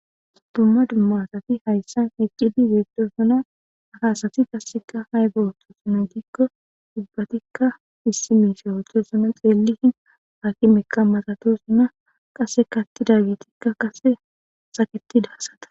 Dumma dumma asati haysan eqqidi bettosona ha asati kassekka ayiba oththosona gikko ubbatikka issi mishsha othosona eththi hakimekka malathosona kasekka aththidagethi saketida asata.